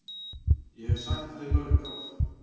Ég hef sagt það í mörg ár.